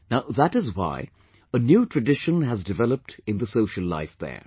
Now that is why, a new tradition has developed in the social life there